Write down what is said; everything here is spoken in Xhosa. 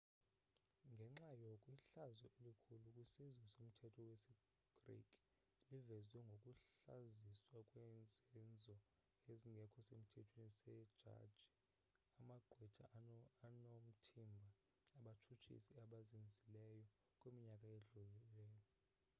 ngenxa yoku ihlazo elikhulu kwisizwe somthetho wesi greek liveziwe ngokuhlaziswa kwezenzo ezingekho semthethweni see jaji amagqwetha onothimba abatshutshisi abazenzileyo kwiminyaka edlulileyo